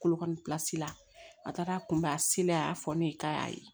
Kolo kɔni la a taara kunbɛn a a y'a fɔ ne ye k'a y'a ye